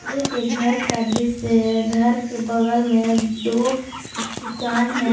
यह एक घर का दृश्य है घर के बगल में दो दुकान है।